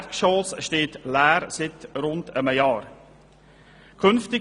Das Erdgeschoss steht seit rund einem Jahr leer.